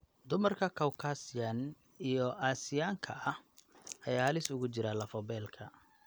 Dumarka Caucasian iyo Aasiyaanka ah ayaa halis ugu jira lafo-beelka.